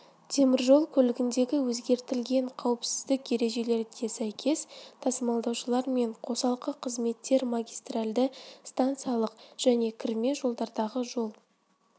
теміржол көлігіндегі өзгертілген қауіпсіздік ережелеріне сәйкес тасымалдаушылар мен қосалқы қызметтер магистральді станциялық және кірме жолдардағы жол